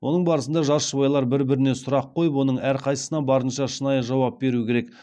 оның барысында жас жұбайлар бір біріне сұрақ қойып оның әрқайсысына барынша шынайы жауап беру керек